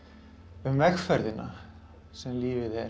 um vegferðina sem lífið er